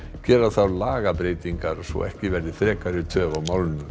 gera þarf lagabreytingar svo ekki verði frekari töf á málinu